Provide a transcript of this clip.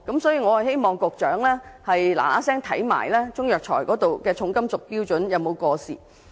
所以，我希望當局盡快審視中藥材的重金屬含量標準有否過時。